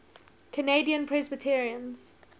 canadian presbyterians